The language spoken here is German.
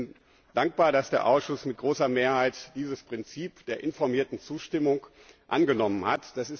Ich bin dankbar, dass der Ausschuss mit großer Mehrheit dieses Prinzip der informierten Zustimmung angenommen hat.